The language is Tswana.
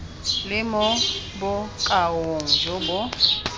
le mo bokaong jo bo